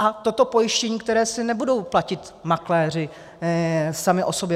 A toto pojištění, které si nebudou platit makléři sami o sobě.